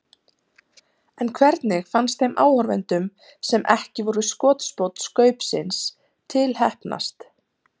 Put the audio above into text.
En hvernig fannst þeim áhorfendum sem ekki voru skotspónn Skaupsins til heppnast?